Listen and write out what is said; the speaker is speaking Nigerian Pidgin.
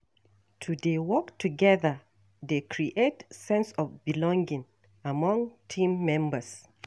To dey work together dey create sense of belonging among team members.